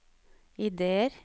ideer